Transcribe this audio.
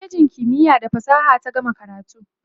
a kwalejin kimiya da fasaha ta gama karatu